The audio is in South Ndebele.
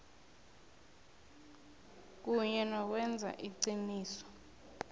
kunye nokwenza iqiniso